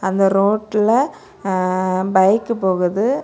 அந்த ரோட்ல அ பைக் போகுது.